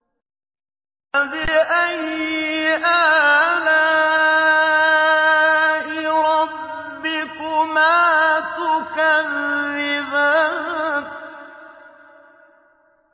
فَبِأَيِّ آلَاءِ رَبِّكُمَا تُكَذِّبَانِ